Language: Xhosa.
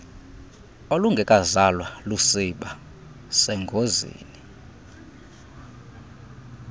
olungekazalwa lusiba sengozini